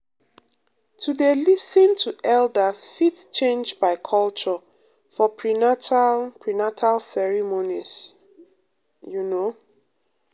to dey um lis ten to elders fit change by culture for prenatal prenatal ceremonies pause um you know.